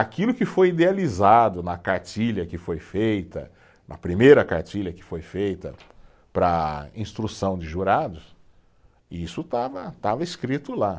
Aquilo que foi idealizado na cartilha que foi feita, na primeira cartilha que foi feita para instrução de jurados, isso estava, estava escrito lá.